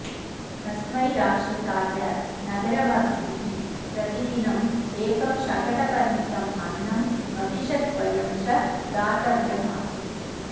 तस्मै राक्षसाय नगरवासिभिः प्रतिदिनम् एकं शकटपरिमितम् अन्नं महिषद्वयं च दातव्यम् आसीत्